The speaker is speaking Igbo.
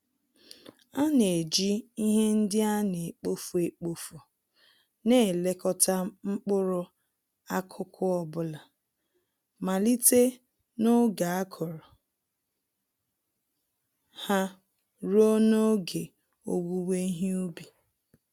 Ana-eji ihe ndị anekpofu-ekpofu n'elekota mkpụrụ-akụkụ ọbula, malite n'oge akụrụ ha, ruo n'oge owuwe ihe ubi